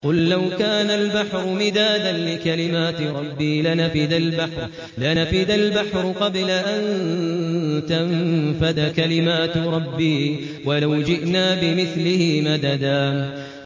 قُل لَّوْ كَانَ الْبَحْرُ مِدَادًا لِّكَلِمَاتِ رَبِّي لَنَفِدَ الْبَحْرُ قَبْلَ أَن تَنفَدَ كَلِمَاتُ رَبِّي وَلَوْ جِئْنَا بِمِثْلِهِ مَدَدًا